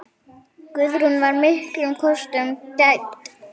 Guðrún var miklum kostum gædd.